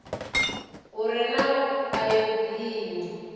u re na ayodini u